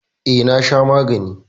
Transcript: E, na sha magani.